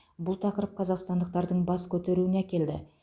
бұл тақырып қазақстандықтардың бас көтеруіне әкелді